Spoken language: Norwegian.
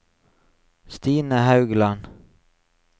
Stine Haugland